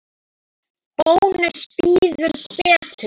Bónus býður betur.